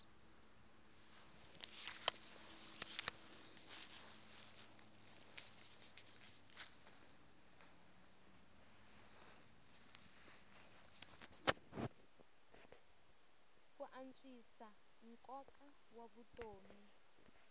ku antswisa nkoka wa vutomi